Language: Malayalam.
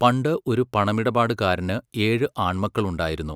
പണ്ട് ഒരു പണമിടപാടുകാരന് ഏഴു ആൺമക്കളുണ്ടായിരുന്നു.